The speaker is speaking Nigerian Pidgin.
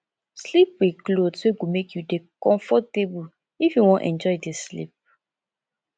sleep with cloth wey go make you dey comfortable if you wan enjoy di sleep